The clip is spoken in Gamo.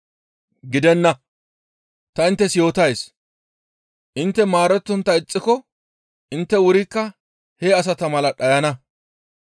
Gidenna! Ta inttes yootays; intte maarettontta ixxiko intte wurikka he asata mala dhayana.